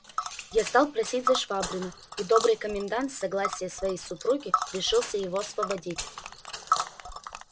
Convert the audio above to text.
я стал просить за швабрина и добрый комендант с согласия своей супруги решился его освободить